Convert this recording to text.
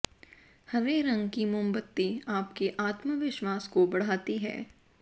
हरे रंग की मोमबत्ती आपके आत्मविश्वास को बढ़ाती है